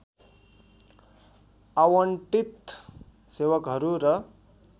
आवन्टित सेवकहरू र